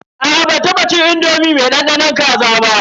Aa ban taba cin indomi mai dandanon kaza ba.